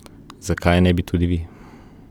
Zakaj je ne bi tudi vi?